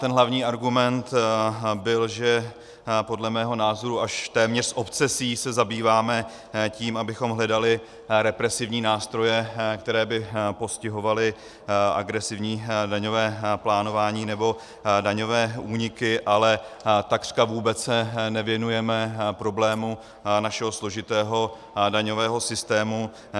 Ten hlavní argument byl, že podle mého názoru až téměř s obsesí se zabýváme tím, abychom hledali represivní nástroje, které by postihovaly agresivní daňové plánování nebo daňové úniky, ale takřka vůbec se nevěnujeme problému našeho složitého daňového systému.